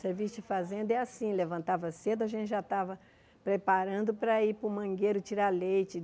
Serviço de fazenda é assim, levantava cedo, a gente já estava preparando para ir para o mangueiro tirar leite.